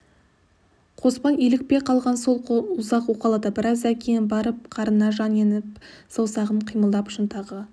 қоспан илікпей қалған сол қолын ұзақ уқалады біраздан кейін барып қарына жан еніп саусағы қимылдап шынтағы